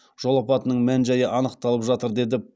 жол апатының мән жайы анықталып жатыр деді